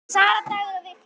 Sara, Dagur og Victor.